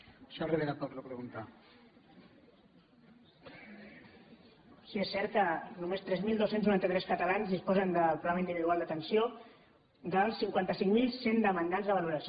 sí és cert que només tres mil dos cents i noranta tres catalans disposen del programa individual d’atenció dels cinquanta cinc mil cent demandants de valoració